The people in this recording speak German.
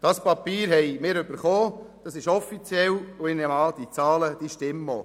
Das Papier haben wir erhalten, es ist offiziell, und ich nehme an, die Zahlen stimmen auch.